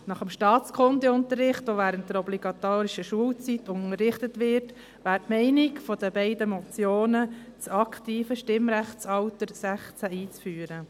Nach dem Staatskundeunterricht, der während der obligatorischen Schulzeit unterrichtet wird, wäre die Meinung der beiden Motionen , das aktive Stimmrechtsalter 16 einzuführen.